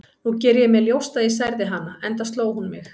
Nú geri ég mér ljóst að ég særði hana, enda sló hún mig.